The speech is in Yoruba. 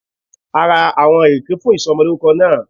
A ra áwọn ìrèké fún ìsomolórúko náà